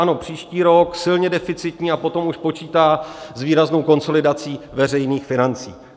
Ano, příští rok silně deficitní, a potom už počítá s výraznou konsolidací veřejných financí.